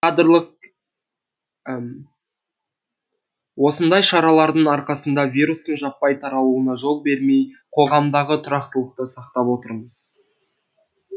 осындай шаралардың арқасында вирустың жаппай таралуына жол бермей қоғамдағы тұрақтылықты сақтап отырмыз